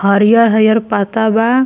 हरियर-हरियर पाता बा।